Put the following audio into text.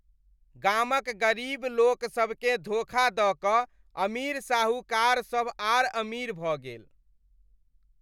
गामक गरीब लोकसभ केँ धोखा दऽ कऽ अमीर साहूकार सभ आर अमीर भऽ गेल।